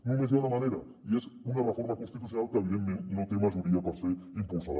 només hi ha una manera i és una reforma constitucional que evidentment no té majoria per ser impulsada